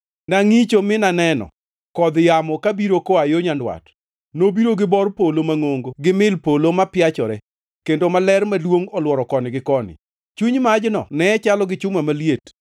Nangʼicho mi naneno kodh yamo kabiro koa yo nyandwat. Nobiro gi bor polo mangʼongo gi mil polo mapiachore kendo maler maduongʼ olworo koni gi koni. Chuny majno ne chalo gi chuma maliet,